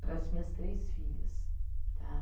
Para as minhas três filhas.